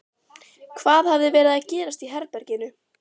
Hvað hafði verið að gerast í herberginu?